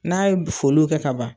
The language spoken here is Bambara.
N'a ye foliw kɛ ka ban